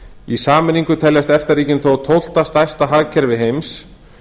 í sameiningu teljast efta ríkin þó tólfta stærsta hagkerfi heims